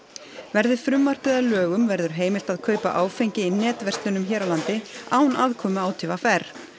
verði frumvarpið að lögum verður heimilt að kaupa áfengi í netverslunum hér á landi án aðkomu á t v r